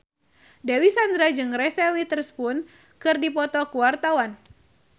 Dewi Sandra jeung Reese Witherspoon keur dipoto ku wartawan